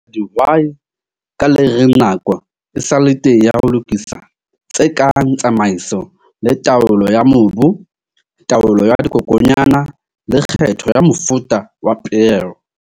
A kgothatsa dihwai ka le reng nako e sa le teng ya ho lokisa tse kang tsamaiso le taolo ya mobu, taolo ya dikokwanyana, le kgetho ya mofuta wa peo.